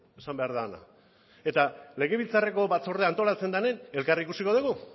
esan behar dena eta legebiltzarreko batzordea antolatzen denean elkar ikusiko dugu